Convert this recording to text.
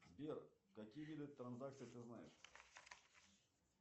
сбер какие виды транзакций ты знаешь